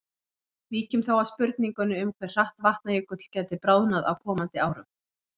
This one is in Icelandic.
Víkjum þá að spurningunni um hve hratt Vatnajökull gæti bráðnað á komandi árum.